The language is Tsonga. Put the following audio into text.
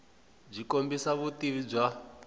byi kombisa vutivi bya